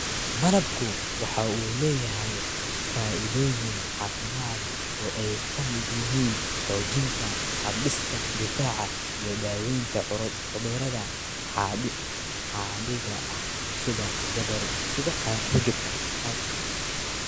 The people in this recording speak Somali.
Malabku waxa uu leeyahay faa�iidooyin caafimaad oo ay ka mid yihiin xoojinta hab-dhiska difaaca iyo daawaynta cudurrada caadiga ah sida hargabka.